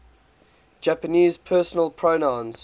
japanese personal pronouns